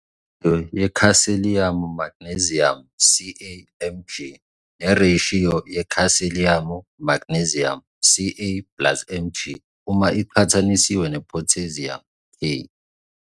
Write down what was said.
Ireshiyo yeKhalsiyamu Magneziyamu, Ca Mg, nereshiyo yeKhalsiyamu Magneziyamu, Ca plus Mg, uma iqhathaniswa nePhotheziyamu, K.